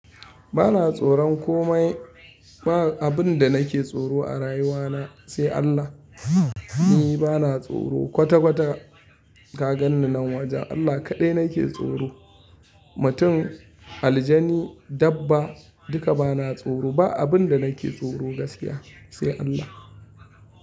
Ba na tsoron komai. Ba abin da nake tsoro a rayuwana sai Allah. Ni ba na tsoro kwata-kwata, ka ganni nan waje Allah kaɗai nake tsoro. Mutum, aljani, dabba duka ba na tsoro. Ba abin da nake tsoro gaskiya sai Allah.